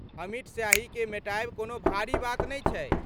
अमिट स्याहीकेँ मेटायब कोनो भारी बात नै छै।